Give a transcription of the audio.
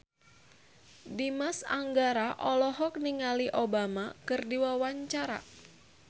Dimas Anggara olohok ningali Obama keur diwawancara